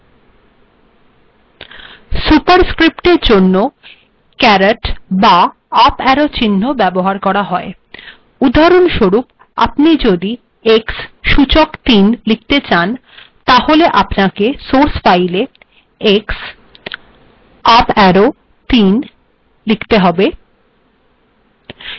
সুপারস্ক্রিপ্টের জন্য caret up arrow চিহ্নের ব্যবহার করা হয় উদাহরণস্বরূপ আপনি যদি আউটপুট্ xকিউব লিখতে চান তাহলে আপনাকেসোর্স ফাইলে x আপ arrow ৩ লিখতে হবে